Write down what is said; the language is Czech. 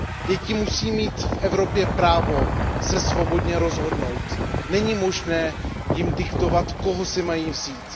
Děti musí mít v Evropě právo se svobodně rozhodnout, není možné jim diktovat, koho si mají vzít.